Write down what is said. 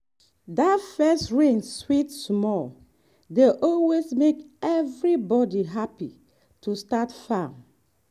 that first rain sweet smell dey always make everybody happy to start farm.